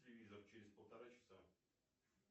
телевизор через полтора часа